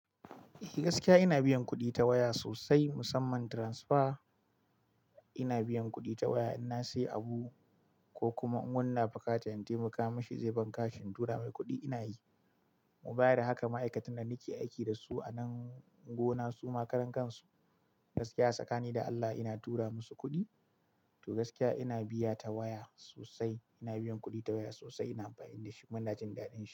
Gaskiya ina biyan kuɗi ta waya sosai, musamman transfer. Ina biyan kuɗi ta waya in na sayi abu ko kuma in wani na buƙata in taimaka mashi zai ban kash tura mai kuɗi ina yi. Ko baya da haka ma'aikatan da nake aiki da su a nan gonar su ma karankan su, gaskiya tsakani da Allah ina tura masu kuɗi. To gaskiya ina biya ta waya sosai, ina biyan kuɗi ta waya sosai, ina amfani da shi kuma ina jin daɗin shi.